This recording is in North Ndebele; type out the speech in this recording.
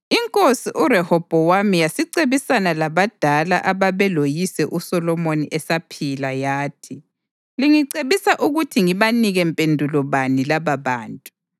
INkosi uRehobhowami yasicebisana labadala ababeloyise uSolomoni esaphila, yathi: “Lingicebisa ukuthi ngibanike mpendulo bani lababantu?”